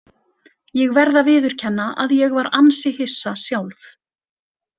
Ég verð að viðurkenna að ég var ansi hissa sjálf.